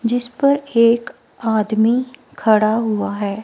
जिस पर एक आदमी खड़ा हुआ है।